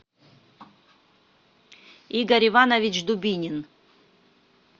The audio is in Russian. игорь иванович дубинин